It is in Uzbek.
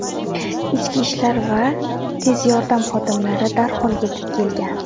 Ichki ishlar va tez yordam xodimlari darhol yetib kelgan.